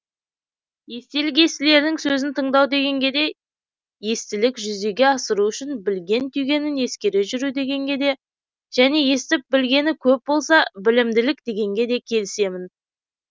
естілік естілердің сөзін тыңдау дегенге де естілік жүзеге асыру үшін білген түйгенін ескере жүру дегенге де және естіп білгені көп болса білімділік дегенге де келісемін